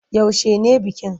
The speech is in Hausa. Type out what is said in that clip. Yaushe ne bikin?